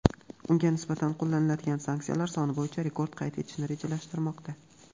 unga nisbatan qo‘llanilgan sanksiyalar soni bo‘yicha rekord qayd etishni rejalashtirmoqda.